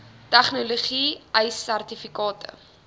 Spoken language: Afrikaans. tegnologie ace sertifikate